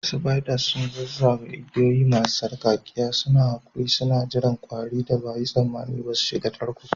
Spiders sun zazzage igiyoyi masu sarƙaƙƙiya, suna haƙuri suna jiran ƙwarin da ba a yi tsammani ba su shiga tarko